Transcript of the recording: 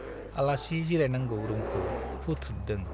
आलासि जिरायनांगौ रुमखौ फुथ्रोददों ।